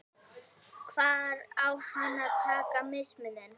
Hvar á hann að taka mismuninn?